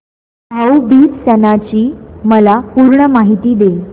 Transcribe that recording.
भाऊ बीज सणाची मला पूर्ण माहिती दे